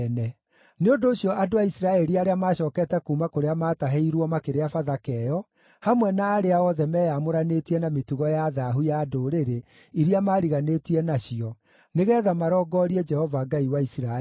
Nĩ ũndũ ũcio andũ a Isiraeli arĩa maacookete kuuma kũrĩa maatahĩirwo makĩrĩa Bathaka ĩyo, hamwe na arĩa othe meyamũranĩtie na mĩtugo ya thaahu ya ndũrĩrĩ iria mariganĩtie nacio nĩgeetha marongorie Jehova Ngai wa Isiraeli.